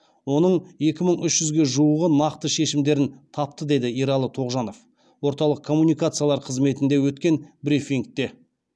оның екі мың үш жүзге жуығы нақты шешімдерін тапты деді ералы тоғжанов орталық коммуникациялар қызметінде өткен брифингте